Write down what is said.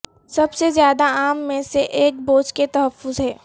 سب سے زیادہ عام میں سے ایک بوجھ کے تحفظ ہے